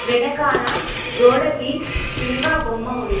వెనకాల గోడకి శిల్వ బొమ్మ ఉంది.